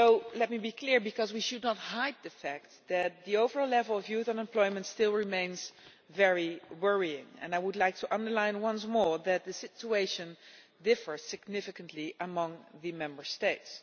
Let me be clear though, because we should not hide the fact that the overall level of youth unemployment still remains very worrying, and I would like to underline once more that the situation differs significantly among the Member States.